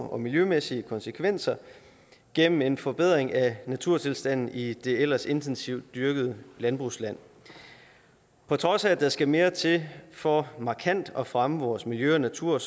og miljømæssige konsekvenser gennem en forbedring af naturtilstanden i det ellers intensivt dyrkede landbrugsland på trods af at der skal mere til for markant at fremme vores miljø og natur